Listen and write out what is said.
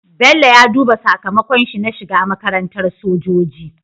Bello ya duba sakamakon shi na shiga makarantar sojoji